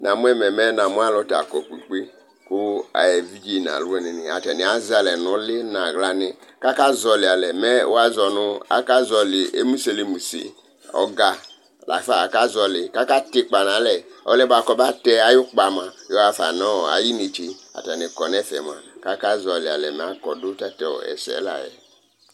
Namuɛmɛ namualu takɔ kpekoe ,ku evidze n'aluwinini atani azalɛ n'uli n'aɣlani kaka zolialɛ ,mɛ w'azɔnʊ akazolɩ emuselemuse ɔga lafa akazɔlɩ kaka t'ikpa nalɛ oluyɛ kobatɛ ayukpa mua yɔgafa nɔ ayinetse Atani kɔnɛfɛmua ,kakazɔlialɛ makɔ du tatesse layɛ